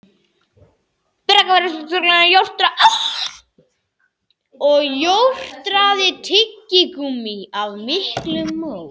spurði afgreiðslustúlkan og jórtraði tyggigúmmí af miklum móð.